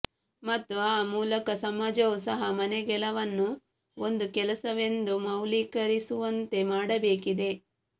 ಮತ್ತು ಆ ಮೂಲಕ ಸಮಾಜವೂ ಸಹ ಮನೆಗೆಲವನ್ನು ಒಂದು ಕೆಲಸವೆಂದು ಮೌಲ್ಯೀಕರಿಸುವಂತೆ ಮಾಡಬೇಕಿದೆ